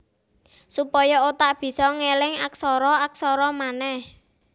Supaya otak bisa ngeling aksara aksara manèh